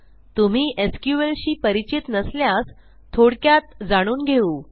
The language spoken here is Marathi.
तुम्ही sqlशी परिचित नसल्यास थोडक्यात जाणून घेऊ